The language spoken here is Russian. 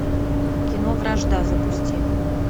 кино вражда запусти